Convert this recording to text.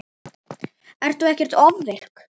Ert þú ekkert ofvirk?